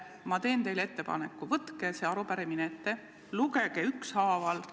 Ma teen teile ettepaneku: võtke see arupärimine ja lugege küsimused ükshaaval ette.